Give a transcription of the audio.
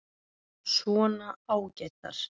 Svona ágætar.